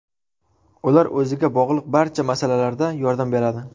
Ular o‘ziga bog‘liq barcha masalalarda yordam beradi.